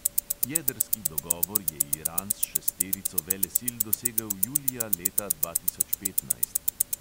Jedrski dogovor je iran s šesterico velesil dosegel julija leta dva tisoč petnajst.